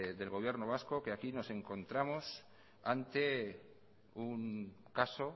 del gobierno vasco que aquí nos encontramos ante un caso